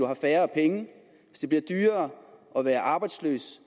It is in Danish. har færre penge hvis det bliver dyrere at være arbejdsløs